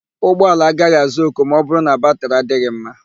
Ụgbọala agaghị àzá òkù ma ọbụrụ na batịrị adịghị mma.